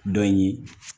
Dɔ ye